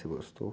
Você gostou?